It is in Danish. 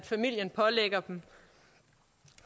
familien pålægger dem